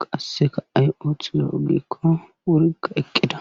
qasseka ay7othiyo ogikko wurikka eqqida